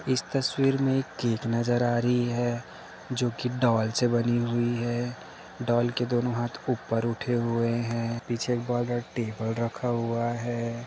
इस तस्वीर में एक केक नजर आ रही है जो की डॉल से बनी हुई है डॉल के दोनों हाथ ऊपर उठे हुए हैं पीछे एक बड़ा टेबल रखा हुआ है।